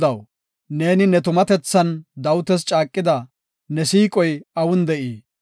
Godaw, neeni ne tumatethan Dawitas caaqida, ne siiqoy awun de7ii?